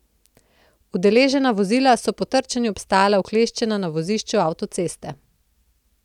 Udeležena vozila so po trčenju obstala ukleščena na vozišču avtoceste.